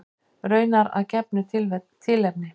Raunar að gefnu tilefni.